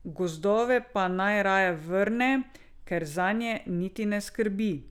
Gozdove pa naj raje vrne ker zanje niti ne skrbi.